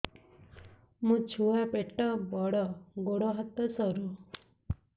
ମୋ ଛୁଆ ପେଟ ବଡ଼ ଗୋଡ଼ ହାତ ସରୁ